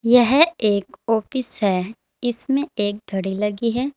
यह एक ऑफिस है इसमें एक घड़ी लगी है।